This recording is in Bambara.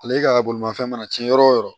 Ale ka bolimafɛn mana cɛn yɔrɔ o yɔrɔ